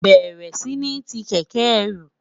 béèrè sí ní tí kéké ẹrù